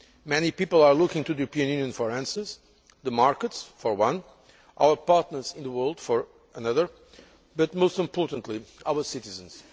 Many people are looking to the European Union for answers the markets for one, our partners in the world for another, but most importantly, our citizens.